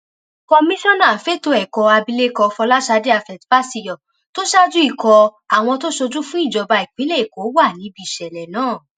komisanna fẹtọ ẹkọ abilékọ fọlásadé afetfaṣíyọ tó ṣáájú ikọ àwọn tó ṣojú fún ìjọba ìpínlẹ èkó wà níbi ìṣẹlẹ náà